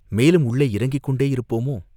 மேலும் உள்ளே இறங்கிக் கொண்டேயிருப்போமோ?